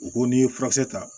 U ko n'i ye furakisɛ ta